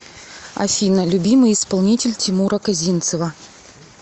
афина любимый исполнитель тимура козинцева